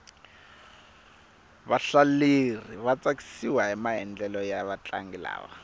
vahlaleri va tsakisiwahi maendlelo ya vatlangi lava